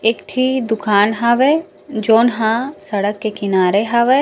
एक टिह दुकान हवे जॉन हा सड़क के किनारे हवे। --